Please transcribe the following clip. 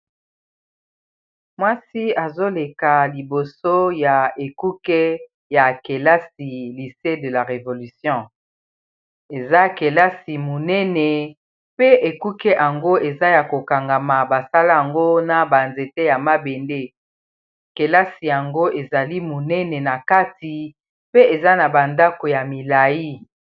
Mwasi azoleka liboso ya ekuke ya kelasi Lycee de la revolution eza kelasi monene pe ekuke yango eza ya kokangama basala yango na ba nzete ya mabende kelasi yango ezali monene na kati pe eza na ba ndako ya milayi.